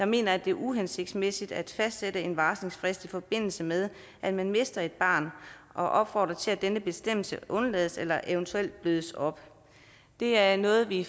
mener at det er uhensigtsmæssigt at fastsætte en varslingsfrist i forbindelse med at man mister et barn og opfordrer til at denne bestemmelse udelades eller eventuelt blødes op det er noget vi i